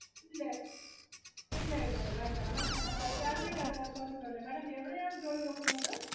ഇല്ല, ഇല്ല വേണ്ട madam salary അത് പ്രശ്നമില്ല madam എവിടെയാണ് ജോലി നോക്കുന്നത്?